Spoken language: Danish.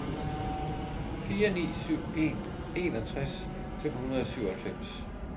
fire ni syv en enogtres fem hundrede og syvoghalvfems